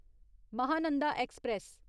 Mahananda express